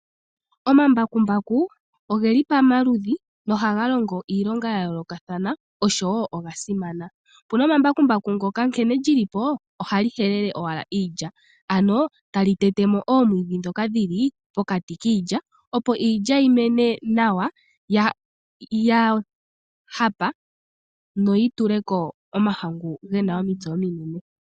Omambakumbaku oge li pamaludhi nohaga longo iilonga ya yoolokathana, oshowo oga simana. Opu na embakumbaku ndyono nkene li li po ohali helele iilya, ano tali tete mo oomwiidhi ndhoka dhi li pokati kiilya, opo iilya yi mene nawa ya hapa noyi tule ko omitse ominene.